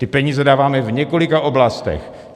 Ty peníze dáváme v několika oblastech.